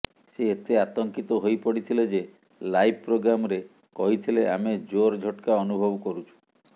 ସେ ଏତେ ଆତଙ୍କିତ ହୋଇପଡ଼ିଥିଲେ ଯେ ଲାଇଭ୍ ପ୍ରୋଗ୍ରାମରେ କହିଥିଲେ ଆମେ ଜୋର ଝଟକା ଅନୁଭବ କରୁଛୁ